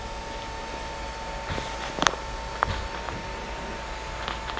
Hver mun grenja fyrir okkur á morgun?